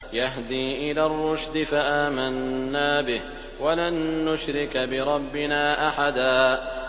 يَهْدِي إِلَى الرُّشْدِ فَآمَنَّا بِهِ ۖ وَلَن نُّشْرِكَ بِرَبِّنَا أَحَدًا